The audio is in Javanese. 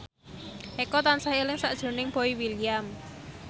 Eko tansah eling sakjroning Boy William